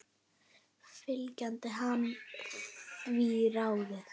Fylgdi hann því ráði.